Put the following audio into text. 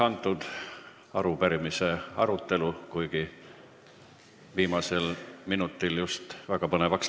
Lõpetan arupärimise arutelu, kuigi viimasel minutil just läks väga põnevaks.